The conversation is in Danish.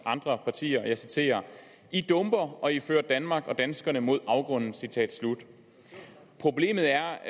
andre partier og jeg citerer i dumper og i fører danmark og danskerne mod afgrunden citat slut problemet er